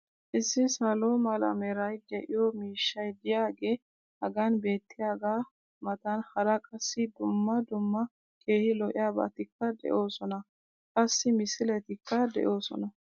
issi salo mala meray de'iyo miishshay diyaagee hagan beetiyaagaa matan hara qassi dumma dumma keehi lo'iyaabatikka de'oosona. qassi misilletikka doosona.